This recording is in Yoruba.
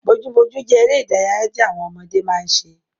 Bojúbojú jẹ́ eré ìdárayá tí àwọn ọmọdé máa ń ṣe